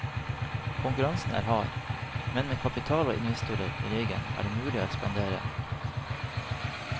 Konkurransen er hard, men med kapital og investorer i ryggen er det mulig å ekspandere.